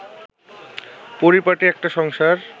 পরিপাটি একটা সংসার